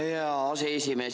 Tänan, hea aseesimees!